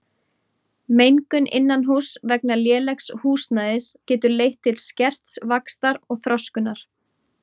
Mengun innanhúss vegna lélegs húsnæðis getur leitt til skerts vaxtar og þroskunar.